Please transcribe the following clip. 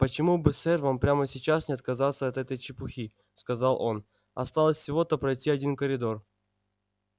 почему бы сэр вам прямо сейчас не отказаться от этой чепухи сказал он осталось всего-то пройти один коридор